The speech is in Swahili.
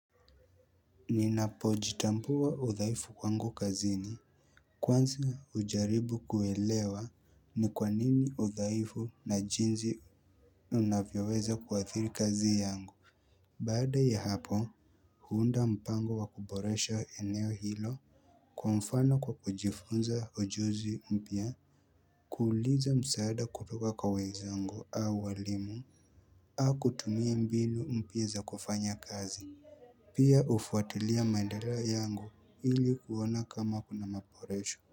Ninapojitambua udhaifu kwangu kazini Kwanza hujaribu kuelewa ni kwa nini udhaifu na jinsi unavyoweza kuwathiri kazi yangu Baada ya hapo huunda mpango wa kuboresha eneo hilo kwa mfano kwa kujifunza ujuzi mpya kuuliza msaada kutoka kwa wenzangu au waalimu au kutumia mbinu mpya za kufanya kazi Pia hufuatilia maendeleo yangu ili kuona kama kuna maboresho.